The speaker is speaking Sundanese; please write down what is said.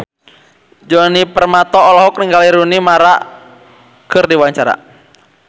Djoni Permato olohok ningali Rooney Mara keur diwawancara